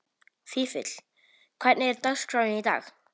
Vífill, hvernig er dagskráin í dag?